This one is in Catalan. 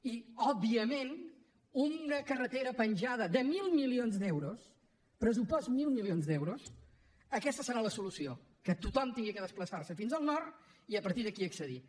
i òbviament una carretera penjada de mil milions d’euros pressupost mil milions d’euros aquesta serà la solució que tothom hagi de desplaçar se fins al nord i a partir d’aquí accedir hi